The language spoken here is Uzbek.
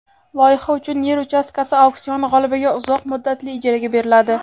loyiha uchun yer uchastkasi auksion g‘olibiga uzoq muddatli ijaraga beriladi.